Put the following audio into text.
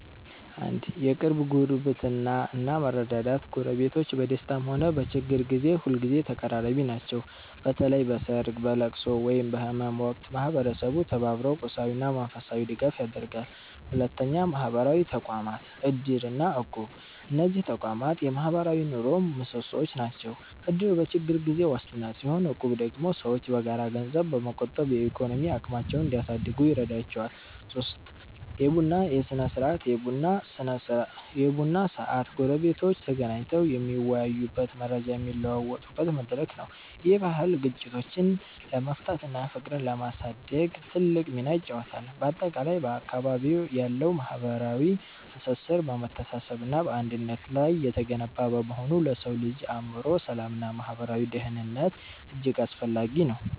1. የቅርብ ጉርብትና እና መረዳዳት ጎረቤቶች በደስታም ሆነ በችግር ጊዜ ሁልጊዜ ተቀራራቢ ናቸው። በተለይ በሰርግ፣ በልቅሶ ወይም በህመም ወቅት ማህበረሰቡ ተባብሮ ቁሳዊና መንፈሳዊ ድጋፍ ያደርጋል። 2. ማህበራዊ ተቋማት (እድር እና እቁብ) እነዚህ ተቋማት የማህበራዊ ኑሮው ምሰሶዎች ናቸው። እድር በችግር ጊዜ ዋስትና ሲሆን፣ እቁብ ደግሞ ሰዎች በጋራ ገንዘብ በመቆጠብ የኢኮኖሚ አቅማቸውን እንዲያሳድጉ ይረዳቸዋል። 3. የቡና ስነ-ስርዓት የቡና ሰዓት ጎረቤቶች ተገናኝተው የሚወያዩበትና መረጃ የሚለዋወጡበት መድረክ ነው። ይህ ባህል ግጭቶችን ለመፍታትና ፍቅርን ለማሳደግ ትልቅ ሚና ይጫወታል። ባጠቃላይ፣ በአካባቢዎ ያለው ማህበራዊ ትስስር በመተሳሰብና በአንድነት ላይ የተገነባ በመሆኑ ለሰው ልጅ የአእምሮ ሰላምና ማህበራዊ ደህንነት እጅግ አስፈላጊ ነው።